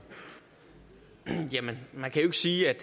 med at sige at